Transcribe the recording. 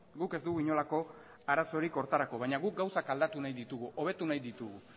guk ez dugu inolako arazorik horretarako baina guk gauzak aldatu nahi ditugu hobetu nahi ditugu